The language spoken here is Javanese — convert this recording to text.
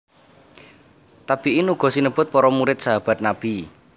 Tabi in uga sinebut para murid Sahabat Nabi